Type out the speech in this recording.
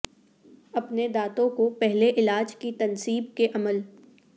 اپنے دانتوں کو پہلے علاج کی تنصیب کے عمل